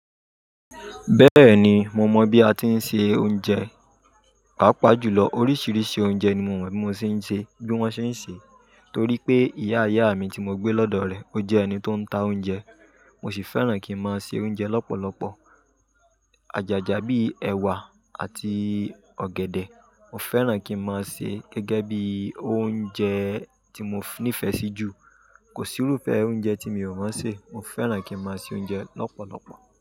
Bẹ́ẹ̀ni, mo mọ̀ bí a ti ń se oúnjẹ, pàápàá jùlọ oríṣìíríṣìí oúnjẹ ni mo mọ̀ bí wọ́n ṣe ń se, torí pé ìyá ìyá mi tí mo gbé lọ́dọ̀ rẹ̀, ó jẹ́ ẹni tó ń ta oúnjẹ. Mo sì fẹ́ràn kí n máa se oúnjẹ lọ́pọ̀lọpọ̀. Àjàjà bí i ẹ̀wà àti ọ̀gẹ̀dẹ̀, mo fẹ́ràn kí n máa se gẹ́gẹ́ bí i oúnjẹ tí mo nífẹ̀ẹ́ sí jù. Kò sí irúfẹ́ oúnjẹ tí mi ò mọ̀ ṣe, mo fẹ́ràn kí n máa se oúnjẹ lọ́pọ̀lọpọ̀.